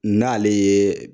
N'ale ye